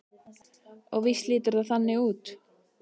Og víst lítur það þannig út.